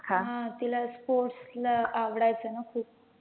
हा तीला sports ला आवडायचं ना खूप